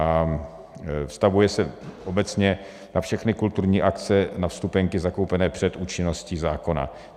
A vztahuje se obecně na všechny kulturní akce, na vstupenky zakoupené před účinností zákona.